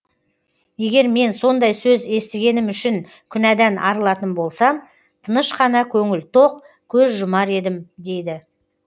егер мен сондай сөз естігенім үшін күнәдан арылатын болсам тыныш қана көңіл тоқ көз жұмар едім дейді